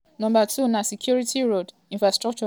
number two na security road infrastructure na number three for me.